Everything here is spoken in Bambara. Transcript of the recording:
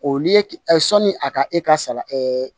O ni ki ɛ sɔni a ka e ka sara